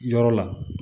Yɔrɔ la